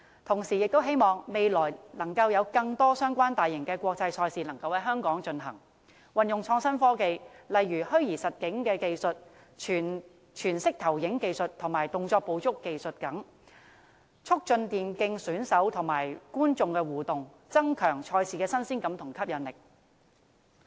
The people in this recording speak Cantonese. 同時，我亦希望未來有更多相關大型國際賽事能夠在香港舉行，運用創新科技，例如虛擬實境、全息投影及動作捕捉等技術，促進電競選手與觀眾的互動，增強賽事的新鮮感和吸引力。